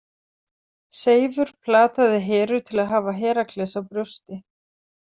Seifur plataði Heru til að hafa Herakles á brjósti.